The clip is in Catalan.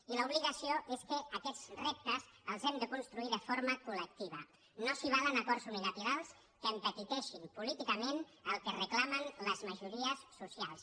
i l’obligació és que aquests reptes els hem de construir de forma col·valen acords unilaterals que empetiteixin políticament el que reclamen les majories socials